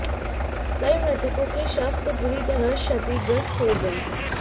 कई मृतकों के शव तो बुरी तरह क्षतिग्रस्त हो गए